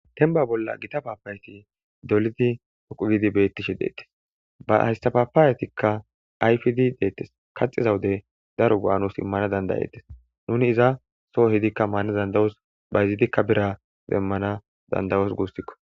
Tenba bolla gita paapayeti dolidi poqu gidi bettishe deettes ba haystapaapaawetikka ayfidi deettes kaxiza wude daro go'a nuus immana dandayettes nuni iza soo hidikka maana dandawos bayzidikka bira demmana dandayos guussikko.